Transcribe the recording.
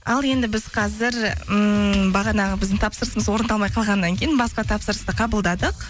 ал енді біз қазір ммм бағанағы біздің тапсырысымыз орындалмай қалғаннан кейін басқа тапсырысты қабылдадық